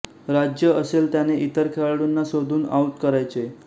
राज्य असेल त्याने इतर खेळाडूंना शोधून आऊट करायचे